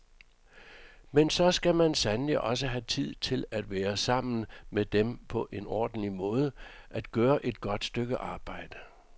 Men så skal man sandelig også have tid til at være sammen med dem på en ordentlig måde, at gøre et godt stykke arbejde.